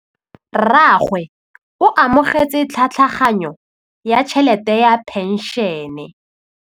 Rragwe o amogetse tlhatlhaganyô ya tšhelête ya phenšene.